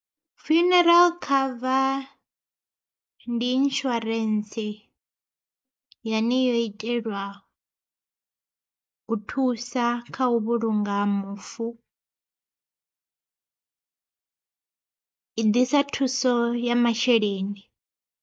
Funeral cover ndi inishuarentse, yane yo itelwa u thusa kha u vhulunga mufu i ḓisa thuso ya masheleni.